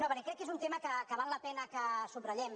no perquè crec que és un tema que val la pena que subratllem